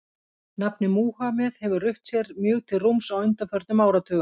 Nafnið Múhameð hefur rutt sér mjög til rúms á undanförnum áratugum.